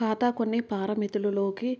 ఖాతా కొన్ని పారామితులు లోకి